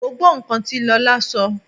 Mo gbọ́ nǹkan tí Lọlá sọ oo.